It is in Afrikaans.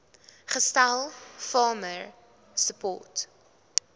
gestel farmer support